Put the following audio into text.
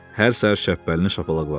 Hər səhər Şəppəlini şapalaqladı.